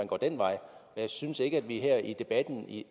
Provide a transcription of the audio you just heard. går den vej jeg synes ikke at vi her i debatten